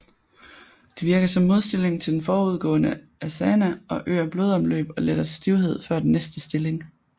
Det virker som modstilling til den forudgående asana og øger blodomløb og letter stivhed før den næste stilling